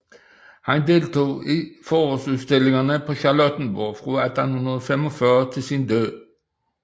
Han deltog i forårsudstillingerne på Charlottenborg fra 1845 til sin død